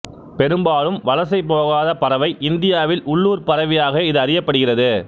பெரும்பாலும் வலசை போகாத பறவை இந்தியாவில் உள்ளூர்ப் பறவையாகவே இது அறியப்படுகிறது